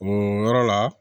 O yɔrɔ la